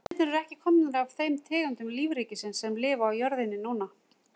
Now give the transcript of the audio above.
Mennirnir eru ekki komnir af þeim tegundum lífríkisins sem lifa á jörðinni núna.